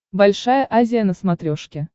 большая азия на смотрешке